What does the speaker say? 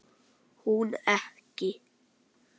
Hún ekki.